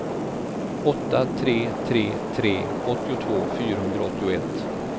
åtta tre tre tre åttiotvå fyrahundraåttioett